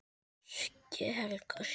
Siggi Helga: Syngur?